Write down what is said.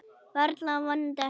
Varla og vonandi ekki.